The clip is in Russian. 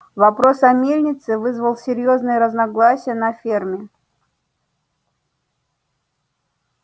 вопрос о мельнице вызвал серьёзные разногласия на ферме